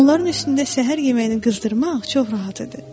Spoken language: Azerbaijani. Onların üstündə səhər yeməyinin qızdırmaq çox rahat idi.